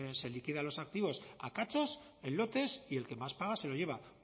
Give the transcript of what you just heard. se liquidan los activos a cachos en lotes y el que más paga se lo lleva